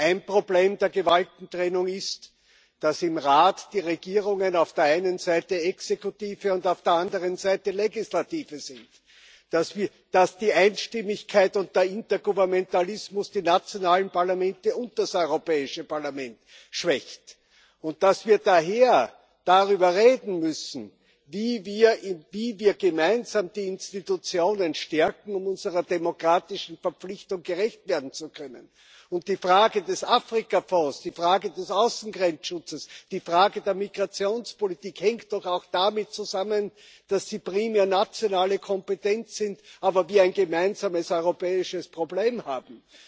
Ein Problem der Gewaltentrennung ist, dass im Rat die Regierungen auf der einen Seite Exekutive und auf der anderen Seite Legislative sind, dass die Einstimmigkeit und der Intergouvernementalismus die nationalen Parlamente und das Europäische Parlament schwächen. Und daher müssen wir darüber reden, wie wir gemeinsam die Institutionen stärken, um unserer demokratischen Verpflichtung gerecht werden zu können. Die Frage des Afrikafonds, die Frage des Außengrenzschutzes, die Frage der Migrationspolitik hängen doch auch damit zusammen, dass sie primär nationale Kompetenz sind, aber wir ein gemeinsames europäisches Problem haben.